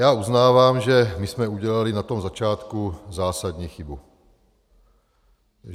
Já uznávám, že my jsme udělali na tom začátku zásadní chybu.